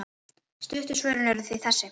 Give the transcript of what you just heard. Stuttu svörin eru því þessi